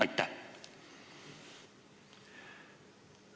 Aitäh!